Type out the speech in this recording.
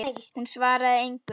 Hún svaraði engu.